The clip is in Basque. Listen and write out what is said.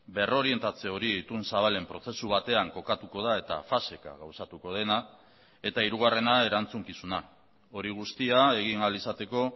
berrorientatze hori itun zabalen prozesu batean kokatuko da eta faseka gauzatuko dena eta hirugarrena erantzukizuna hori guztia egin ahal izateko